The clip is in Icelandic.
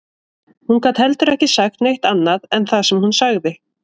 Hún gat heldur ekki sagt neitt annað en það sem hún sagði